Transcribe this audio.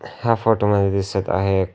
या फोटो मध्ये दिसत आहे--